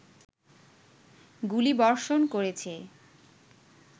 গুলিবর্ষণ করেছে